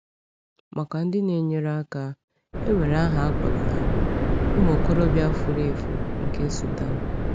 Maka ndị na-enyere aka, e nwere aha a kpọrọ ha — “ụmụ okorobịa furu efu” nke Sudan.